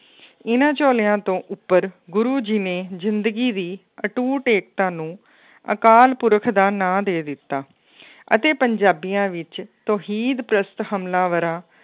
ਇਹਨਾਂ ਝੋਲਿਆਂ ਤੋਂ ਉੱਪਰ ਗੁਰੂ ਜੀ ਨੇ ਜ਼ਿੰਦਗੀ ਦੀ ਅਟੂਟ ਏਕਤਾ ਨੂੰ ਅਕਾਲ ਪੁਰਖ ਦਾ ਨਾਂ ਦੇ ਦਿੱਤਾ ਅਤੇ ਪੰਜਾਬੀਆਂ ਵਿੱਚ ਤੋਹੀਦ ਪ੍ਰਸਤ ਹਮਲਾਵਰਾਂ